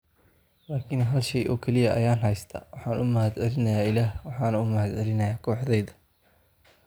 laakin hal shay oo kaliya ayaan haystaa, waxaan u mahadcelinayaa Ilaah, waxaan u mahadcelinayaa kooxdayda.